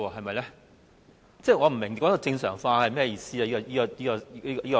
我不明白他所謂正常化的意思。